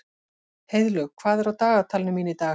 Heiðlaug, hvað er á dagatalinu mínu í dag?